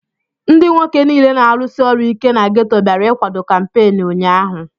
Ndị nwoke niile na-arụsi ọrụ ike na gétò bịara ịkwado kampééni ụnyaahụ